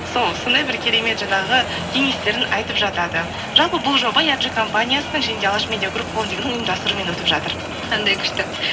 сол сондай бір керемет жаңағы кеңестерін айтып жатады жалпы бұл жоба компаниясының және де алаш медия груп холдингінің ұйымдастыруымен өтіп жатыр қандай күшті